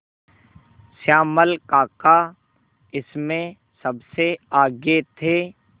श्यामल काका इसमें सबसे आगे थे